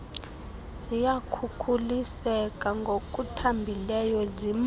ziyakhukuliseka ngokuthambileyo zimke